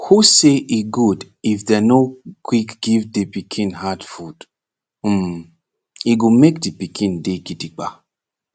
who say e good if dem nor quick give de pikin hard food um e go make de pikin dey gidigba